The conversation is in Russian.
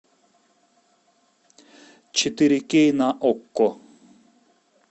четыре кей на окко